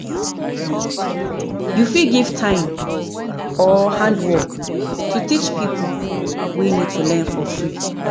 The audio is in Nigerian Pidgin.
you fit give time or handwork to teach pipo wey need to learn for free